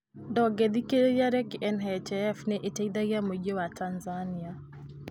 Ndũngĩthikĩrĩria rĩngĩ NHIF nĩ ĩteithagia mũingĩ wa Tanzania?